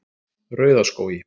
Rauðaskógi